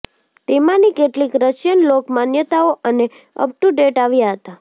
તેમાંની કેટલીક રશિયન લોક માન્યતાઓ અને અપ ટુ ડેટ આવ્યા હતા